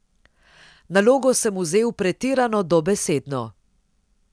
Nalogo sem vzel pretirano dobesedno.